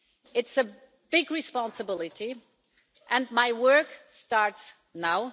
It's a big responsibility and my work starts now.